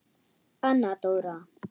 Anna Dóra.